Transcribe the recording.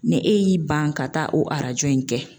Ni e y'i ban ka taa o arajo in kɛ.